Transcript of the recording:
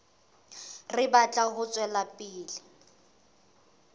re batla ho tswela pele